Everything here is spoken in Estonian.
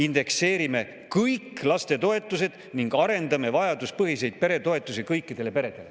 Indekseerime kõik lastetoetused ning arendame vajaduspõhiseid peretoetuseid kõikidele peredele.